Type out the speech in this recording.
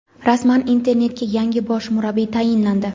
Rasman: "Inter"ga yangi bosh murabbiy tayinlandi.